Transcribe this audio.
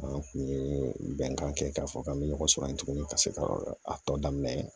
An kun ye bɛnkan kɛ k'a fɔ k'an bɛ ɲɔgɔn sɔrɔ yen tuguni ka se ka a tɔ daminɛ